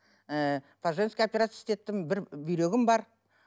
ы по женски операция істеттім бір бүйрегім бар